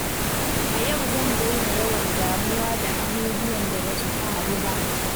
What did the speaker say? A yau zan daina yawan damuwa da abubuwan da ba su faru ba.